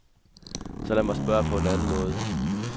Så lad mig spørge på en anden måde.